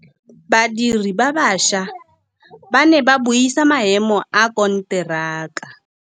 Badiri ba baša ba ne ba buisa maêmô a konteraka.